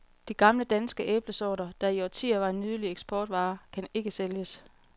De gamle, danske æblesorter, der i årtier var en nydelig eksportvare, kan ikke sælges.